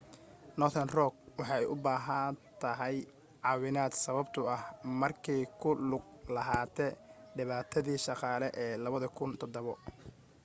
northern rock waxa ay u baahatay caawinaad sababto ah markee ku lug lahaate dhibaatadii dhaqaale ee 2007